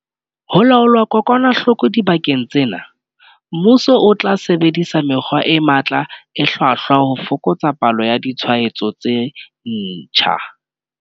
Ho laola kokwanahloko dibakeng tsena, mmuso o tla sebedisa mekgwa e matla e hlwahlwa ho fokotsa palo ya ditshwaetso tse ntjha.